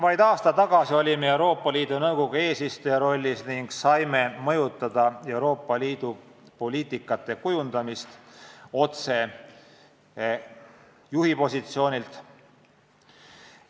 Vaid aasta tagasi olime Euroopa Liidu Nõukogu eesistuja rollis ning saime mõjutada Euroopa Liidu poliitikate kujundamist otse juhipositsioonilt.